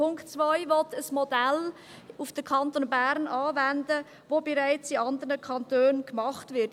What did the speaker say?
Punkt 2 will ein Modell auf den Kanton Bern anwenden, das bereits in anderen Kantonen gemacht wird.